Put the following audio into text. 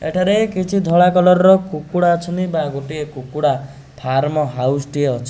ଏଠାରେ କିଛି ଧଳା କଲର୍ ର କୁକୁଡ଼ା ଅଛନ୍ତି ବା ଗୋଟିଏ କୁକୁଡ଼ା ଫାର୍ମ ହାଉସ୍ ଟିଏ ଅଛି।